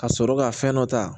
Ka sɔrɔ ka fɛn dɔ ta